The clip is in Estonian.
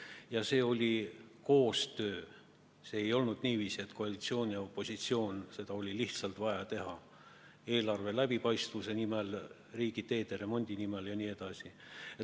Ja see oli koostöö, see ei olnud lihtsalt niiviisi, et koalitsioon ja opositsioon, vaid seda oli vaja teha eelarve läbipaistvuse nimel, riigiteede remondi nimel jne.